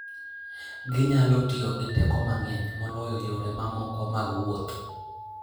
Ginyalo tiyo gi teko mang'eny moloyo yore mamoko mag wuoth.